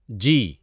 جی